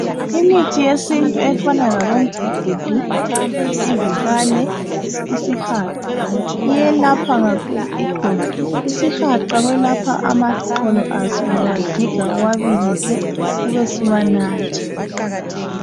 Imithi yesintu efana labo mgugudu, ivikane, isihaqa iyelapha kakhulu iqolo. Isihaqa kuyelapha amaxolo aso uyawagiga uwabilise ubesuwanatha.